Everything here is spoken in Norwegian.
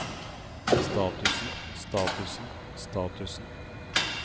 statusen statusen statusen